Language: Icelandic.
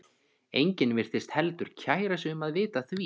Enginn virtist heldur kæra sig um að vita af því.